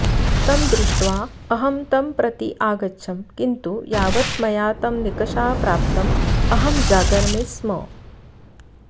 तं दृष्ट्वा अहं तं प्रति अगच्छं किन्तु यावत् मया तं निकषा प्राप्तम् अहं जागर्मि स्म